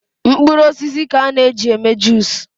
Mkpụrụ osisi ka a na eji eme juice